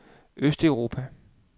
østeuropa